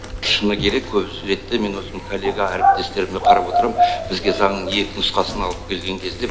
шыны керек көп ретте мен өзім коллега әріптестеріме қарап отырам бізге заңның екі нұсқасын алып келген кезде